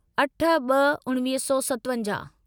अठ ब॒ उणिवीह सौ सतवंजाहु